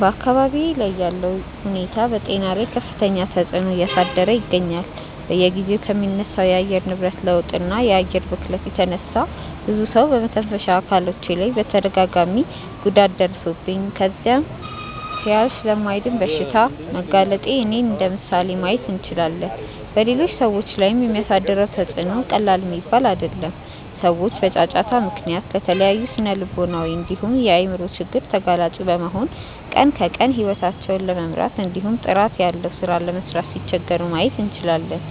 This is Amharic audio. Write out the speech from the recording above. በአካባብዬ ላይ ያለው ሁኔታ በጤና ላይ ከፍተኛ ተፅዕኖ እያሳደረ ይገኛል። በየጊዜው ከሚነሳው የአየር ንብረት ለውጥ እና የአየር ብክለት የተነሳ ብዙ ጊዜ በመተንፈሻ አካሎቼ ላይ ተደጋጋሚ ጉዳት ደርሶብኝ ከዛም ሲያልፍ ለማይድን በሽታ በመጋለጤ እኔን እንደምሳሌ ማየት እንችላለን። በሌሎች ሰዎች ላይም የሚያሳድረው ተፅዕኖ ቀላል የሚባል አይደለም። ሰዎች በጫጫታ ምክንያት ለተለያዩ ስነልቦናዊ እንዲሁም የአይምሮ ችግር ተጋላጭ በመሆን ቀን ከቀን ሂወታቸውን ለመምራት እንዲሁም ጥራት ያለው ሥራ ለመስራት ሲቸገሩ ማየት እንችላለን።